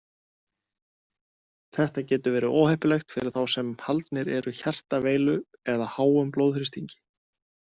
Þetta getur verið óheppilegt fyrir þá sem haldnir eru hjartaveilu eða háum blóðþrýstingi.